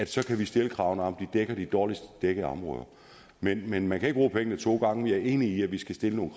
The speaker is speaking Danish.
så kan stille kravene om at dækker de dårligst dækkede områder men men man kan ikke bruge pengene to gange jeg er enig i at vi skal stille nogle